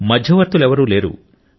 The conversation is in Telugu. మధ్యవర్తులెవరూ లేరు